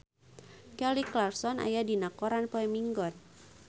Kelly Clarkson aya dina koran poe Minggon